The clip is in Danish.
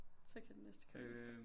Så kan den næste komme efter